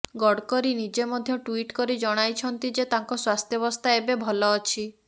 ଗଡ଼କରି ନିଜେ ମଧ୍ୟ ଟ୍ବିଟ୍ କରି ଜଣାଇଛନ୍ତି ଯେ ତାଙ୍କ ସ୍ବାସ୍ଥ୍ୟାବସ୍ଥା ଏବେ ଭଲ ଅଛି